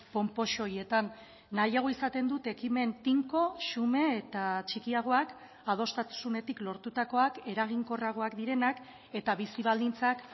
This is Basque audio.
ponpoxo horietan nahiago izaten dut ekimen tinko xume eta txikiagoak adostasunetik lortutakoak eraginkorragoak direnak eta bizi baldintzak